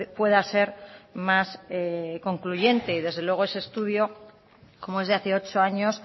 pueda ser más concluyente y desde luego ese estudio como es de hace ocho años